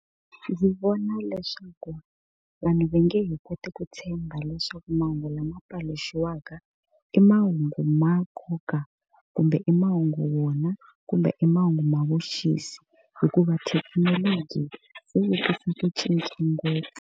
Ndzi vona leswaku vanhu va nge he koti ku tshemba leswaku mahungu lama paluxiwaka i mahungu ma nkoka, kumbe i mahungu wona, kumbe i mahungu ma vuxisi, hikuva thekinoloji se yi tise ku cinca ngopfu.